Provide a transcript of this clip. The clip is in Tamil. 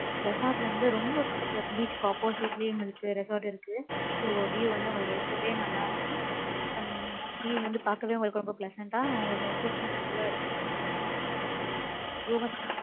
resort ல இருந்து, ரொம்ப பக்கத்துல, beach க்கு opposite லயும் இருக்கு. resort இருக்கு. So, view வந்து, உங்களுக்கு, ரொம்பவே நல்லா இருக்கும். some feel வந்து பார்க்கவே உங்களுக்கு ரொம்ப pleasant ஆ, உங்களுக்கு, ரொம்ப peaceful ஆ இருக்கும் sir. Goa~